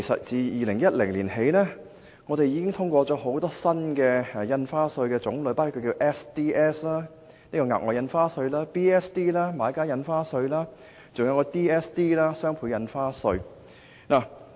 自2010年起，本會已通過多項新的印花稅，包括額外印花稅、買家印花稅及雙倍印花稅。